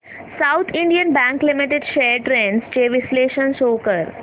south Indian Bank Limited shares trends चे विश्लेषण show कर